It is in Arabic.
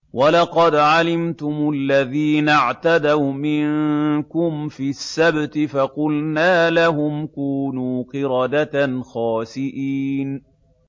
وَلَقَدْ عَلِمْتُمُ الَّذِينَ اعْتَدَوْا مِنكُمْ فِي السَّبْتِ فَقُلْنَا لَهُمْ كُونُوا قِرَدَةً خَاسِئِينَ